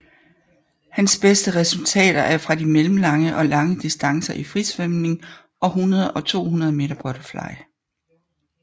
Hans beste resultater er fra de mellemlange og lange distancer i frisvømning og 100 og 200 meter butterfly